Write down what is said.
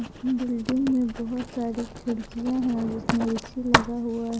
Building में बहुत सारी खिड़कियां है जिसमें ए_सी लगा हुआ है।